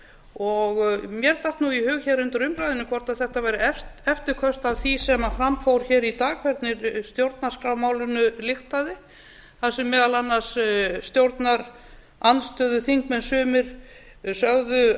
og mér datt í hug undir umræðunni hvort þetta væru eftirköst af því sem fram fór í dag hvernig stjórnarskrármálinu lyktaði þar sem meðal annars stjórnarandstöðuþingmenn sumir sögðu